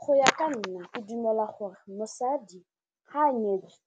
Go ya ka nna ke dumela gore mosadi ga a nyetswe